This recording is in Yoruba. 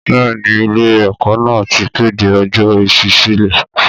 Bẹ́ẹ̀ ni, ilé-ẹ̀kọ́ náà ti kéde ọjọ́ ìṣísílẹ̀.